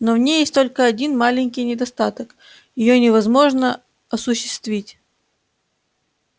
но в ней есть только один маленький недостаток её невозможно осуществить